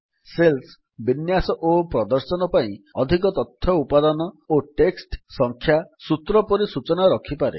cells ବିନ୍ୟାସ ଓ ପ୍ରଦର୍ଶନ ପାଇଁ ଅଧିକ ତଥ୍ୟ ଉପାଦାନ ଓ ଟେକ୍ସଟ୍ ସଂଖ୍ୟା ସୂତ୍ର ପରି ସୂଚନା ରଖିପାରେ